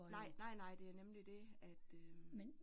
Nej nej nej det er nemlig det at øh